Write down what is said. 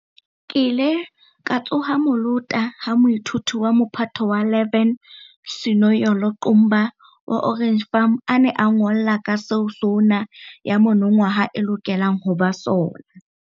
Ke ile ka tsoha molota ha moithuti wa Mophato wa 11 Sinoyolo Qumba wa Orange Farm a ne a nngolla ka seo SoNA ya monongwaha e lokelang ho ba sona.